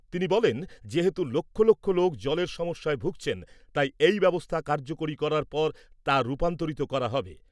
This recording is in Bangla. তিনি বলেন , যেহেতু লক্ষ লক্ষ লোক জলের সমস্যায় ভুগছেন , তাই এই ব্যবস্থা কার্যকরী করার পর তা রূপান্তরিত করা হবে ।